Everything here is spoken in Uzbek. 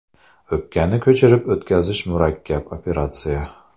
O‘pkani ko‘chirib o‘tkazish murakkab operatsiya.